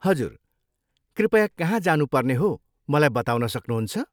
हजुर, कृपया कहाँ जानुपर्ने हो मलाई बताउन सक्नुहुन्छ?